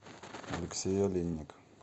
алексей олейник